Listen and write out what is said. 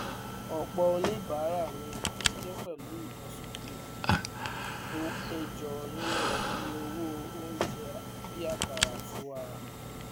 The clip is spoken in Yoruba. ọpọ oníbàárà ní ìbànújẹ pẹlú ìlósókè tó péjọ nínú iye owó oúnjẹ bí akara àti wara